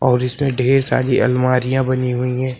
और इसमें ढेर सारी अलमारियां बनी हुई है।